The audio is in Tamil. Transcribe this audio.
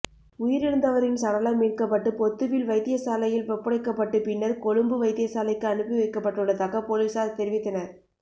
உயிரிழந்தவரின் சடலம் மீட்கப்பட்டு பொத்துவில் வைத்தியசாலையில் ஒப்படைக்கப்பட்டு பின்னர் கொழும்பு வைத்தியசாலைக்கு அனுப்பிவைக்கப்பட்டுள்ளதாக பொலிஸார் தெரிவித்தனர்